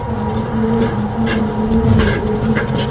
सामने कि ओर बाटा कंपनी का लोगो भी है।